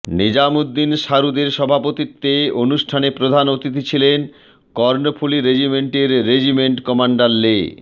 নিজাম উদ্দিন শারুদের সভাপতিত্বে অনুষ্ঠানে প্রধান অতিথি ছিলেন কর্ণফুলী রেজিমেন্টের রেজিমেন্ট কমান্ডার লে